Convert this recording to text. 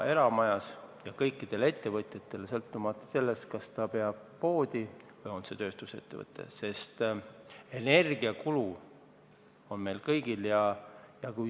See mõjub ka kõikidele ettevõtjatele, sõltumata sellest, kas peetakse poodi või on tegu tööstusettevõttega, sest energiakulu on meil kõigil.